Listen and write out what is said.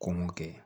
Ko mun kɛ